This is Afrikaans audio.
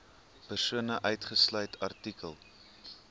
persone uitgesluit artikel